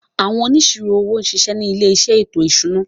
Àwọn Onísirò owó ṣiṣẹ́ ni ilé iṣẹ́ ètò ìṣúná.